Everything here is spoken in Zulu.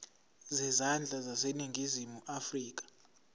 zezandla zaseningizimu afrika